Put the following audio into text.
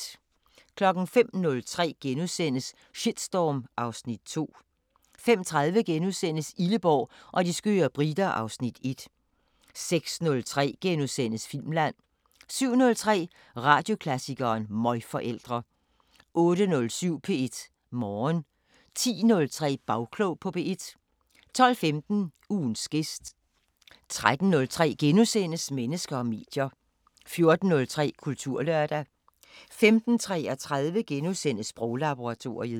05:03: Shitstorm (Afs. 2)* 05:30: Illeborg og de skøre briter (Afs. 1)* 06:03: Filmland * 07:03: Radioklassikeren: Møgforældre 08:07: P1 Morgen 10:03: Bagklog på P1 12:15: Ugens gæst 13:03: Mennesker og medier * 14:03: Kulturlørdag 15:33: Sproglaboratoriet *